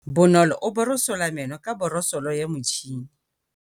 Bonolô o borosola meno ka borosolo ya motšhine.